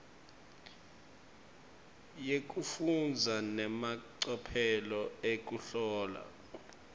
yekufundza nemacophelo ekuhlola